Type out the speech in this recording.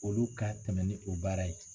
Olu ka tɛmɛ ni o baara ye.